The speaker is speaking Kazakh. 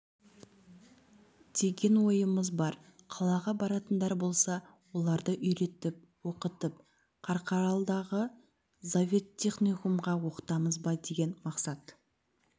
деген ойымыз бар қалаға баратындар болса оларды үйретіп оқытып қарқаралыдағы зооветтехникумға оқытамыз ба деген мақсат